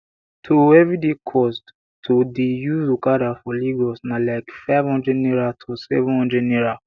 to everyday cost to dey use okada for lagos na like five hundred naira to seven hundred naira